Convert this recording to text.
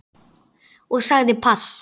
Og sagði pass.